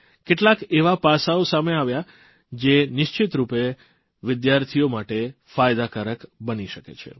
કેટલાક એવા પાસાઓ સામે આવ્યા જે નિશ્ચિતરૂપે વિદ્યાર્થીઓ માટે ફાયદાકારક બની શકે છે